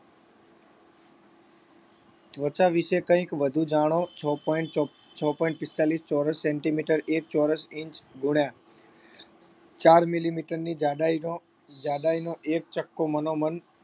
ત્વચા વિષે કંઈક વધુ જાણો છ point ચોપ્પ છ point પિસ્તાળીસ ચોરસ centimeter એક ચોરસ inch ગુણ્યા ચાર millimeter ની જાડાઈનો જાડાઈનો એક ચક્કો મનોમન